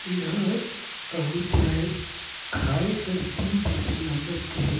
एहर कही जाए खाये करथि जेहा लागत हे।